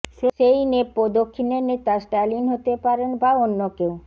সেই নেপো দক্ষিণের নেতা স্ট্যালিন হতে পারেন বা অন্য কেউ